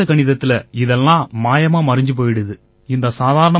ஆனா வேத கணிதத்தில இதெல்லாம் மாயமா மறைஞ்சு போயிடுது